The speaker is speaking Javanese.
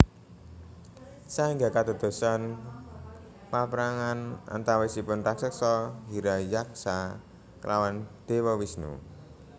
Saéngga kadadosan paprangan antawisipun raksasa Hiranyaksa klawan Déwa Wisnu